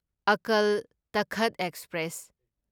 Akal Takht express